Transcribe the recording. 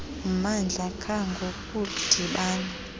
mmandla qha ngokudibana